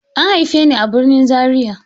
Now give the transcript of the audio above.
An haife ni a birnin Zariya.